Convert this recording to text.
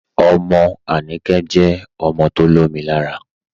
Ọmọ Anikẹ̀ jẹ ọmọ tó lọ̀mì làárà.